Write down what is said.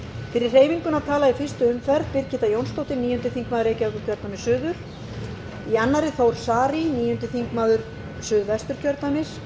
fyrir hreyfinguna tala í fyrstu umferð birgitta jónsdóttir níundi þingmaður reykjavíkurkjördæmis suður í annarri þór saari níundi þingmaður suðvesturkjördæmis